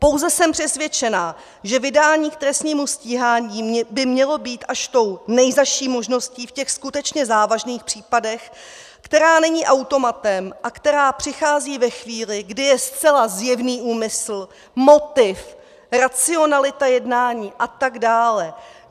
Pouze jsem přesvědčena, že vydání k trestnímu stíhání by mělo být až tou nejzazší možností v těch skutečně závažných případech, která není automatem a která přichází ve chvíli, kdy je zcela zjevný úmysl, motiv, racionalita jednání a tak dále.